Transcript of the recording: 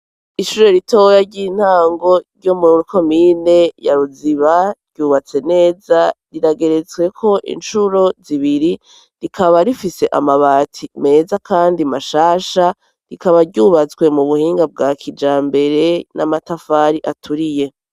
Ishure ritoya ry'intango ryo muri komine ya Ruziba, ryubatse neza rirageretsweko incuro zibiri, rikaba rifise amabati meza kandi mashasha, rikaba ryubatswe mu buhinga bwa kijambere n'amatafari aturiye.